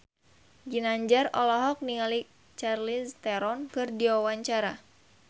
Ginanjar olohok ningali Charlize Theron keur diwawancara